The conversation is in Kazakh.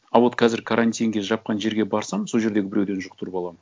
а вот қазір карантинге жапқан жерге барсам сол жердегі біреуден жұқтырып аламын